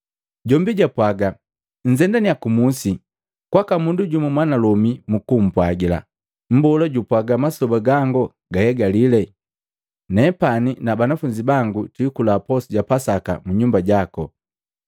Jombi japwaga, “Nnzendaniya ku musi kwaka mundu jumu mwanalomi mukupwagila, ‘Mbola jupwaga masoba gangu gahegalii. Nepani na banafunzi bangu twikula posu ja Pasaka mu nyumba jaku.’ ”